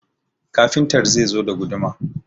Kafintar zai zo da guduma